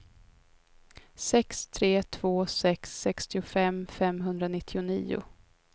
sex tre två sex sextiofem femhundranittionio